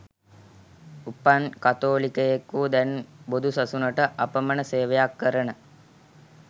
උපන් කතෝලිකයෙක් වූ දැන් බොදුසසුනට අපමන සේවයක් කරන